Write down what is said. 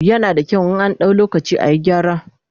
yana da kyau in an dau lokaci ayi gyara